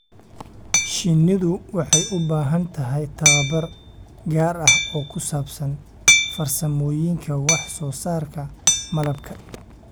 Shinnidu waxay u baahan tahay tababar gaar ah oo ku saabsan farsamooyinka wax-soo-saarka malabka.